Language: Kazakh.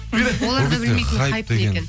олар да білмейтін хайп не екенін